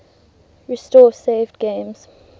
restore saved games